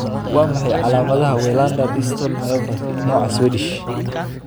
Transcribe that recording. Waa maxay calaamadaha iyo calaamadaha Welander distal myopathy, nooca Swedish?